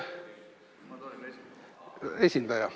Ma tulen esindajana.